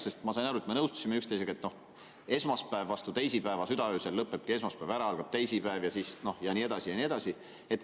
Sest ma sain aru, et me nõustusime üksteisega, et esmaspäev lõpeb vastu teisipäeva südaöösel ära, seejärel algab teisipäev ja nii edasi ja nii edasi.